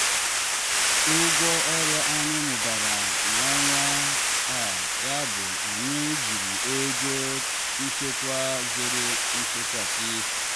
ụgwọ ọrụ anyị mụbara n'ọnwa a yabụ anyị jiri ego nchekwa zere nchekasị.